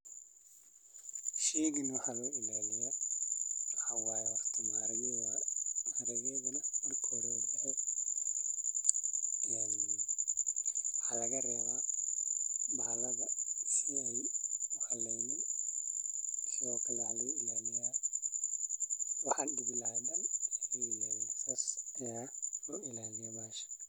Sheygan waxaa waye horta maharageda waxa laga rewa bahalada si ee u haleynin waxe u tahay cafimaad bulshaada.